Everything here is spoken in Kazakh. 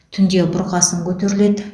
түнде бұрқасын көтеріледі